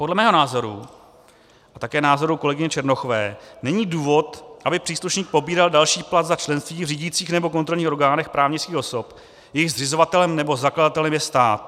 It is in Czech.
Podle mého názoru a také názoru kolegyně Černochové, není důvod, aby příslušník pobíral další plat za členství v řídících nebo kontrolních orgánech právnických osob, jejichž zřizovatelem nebo zakladatelem je stát.